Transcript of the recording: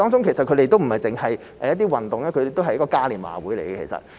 其實同樂運動會不止是運動，亦是一個嘉年華會。